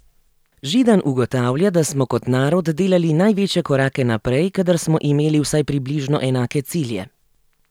Židan ugotavlja, da smo kot narod delali največje korake naprej, kadar smo imeli vsaj približno enake cilje.